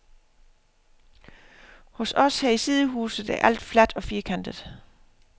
Hos os her i sidehuset er alt fladt og firkantet.